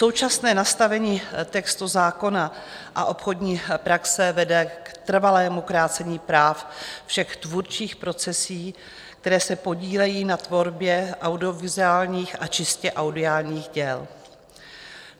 Současné nastavení textu zákona a obchodní praxe vede k trvalému krácení práv všech tvůrčích profesí, které se podílejí na tvorbě audiovizuálních a čistě audiálních děl.